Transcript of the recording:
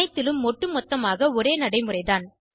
அனைத்திலும் ஒட்டுமொத்தமாக ஒரே நடைமுறைதான்